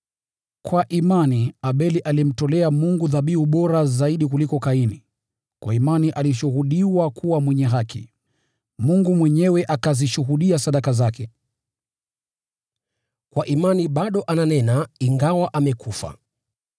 Kwa imani Abeli alimtolea Mungu dhabihu bora zaidi kuliko Kaini. Kwa imani alishuhudiwa kuwa mwenye haki, Mungu mwenyewe akazishuhudia sadaka zake. Kwa imani bado ananena ingawa amekufa.